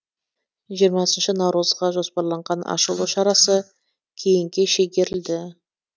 жиырмасыншы наурызға жоспарланған ашылу шарасы кейінге шегерілді